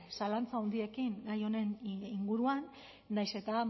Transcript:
zalantza handiekin gai honen inguruan nahiz eta